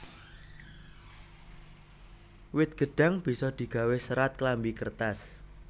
Wit gêdhang bisa digawé sêrat klambi kêrtas